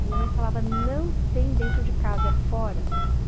A minha mãe falava, não tem dentro de casa, é fora.